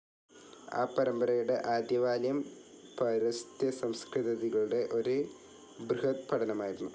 ആ പരമ്പരയുടെ ആദ്യവാല്യം പൗരസ്ത്യസംസ്കൃതികളുടെ ഒരു ബൃഹദ്പഠനമായിരുന്നു.